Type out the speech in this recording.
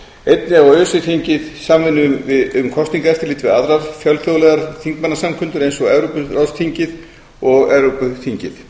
einnig á öse þingið samvinnu um kosningaeftirlit við aðrar fjölþjóðlegar þingmannasamkundur eins og evrópuráðsþingið og evrópuþingið öse þingið